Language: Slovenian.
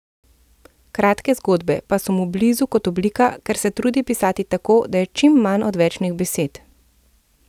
Kratke zgodbe pa so mu blizu kot oblika, ker se trudi pisati tako, da je čim manj odvečnih besed.